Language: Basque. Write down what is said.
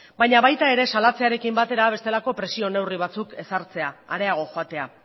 baina baita ere salatzearekin batera bestelako presio neurri batzuk ezartzea areago joatea